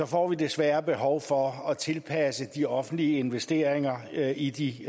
får vi desværre behov for at tilpasse de offentlige investeringer i de